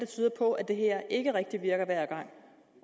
tyder på at det her ikke rigtig virker hver gang